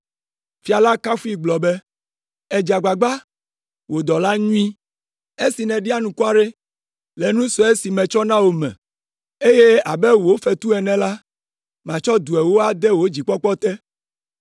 “Fia la kafui gblɔ be, ‘Èdze agbagba, wò dɔla nyui! Esi nèɖi anukware le nu sue si metsɔ na wò me, eye abe wò fetu ene la, matsɔ du ewo ade wò dzikpɔkpɔ te.’